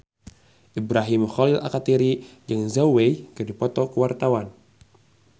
Ibrahim Khalil Alkatiri jeung Zhao Wei keur dipoto ku wartawan